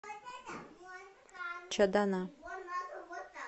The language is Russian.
чадана